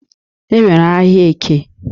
E nwere ahịa Eke.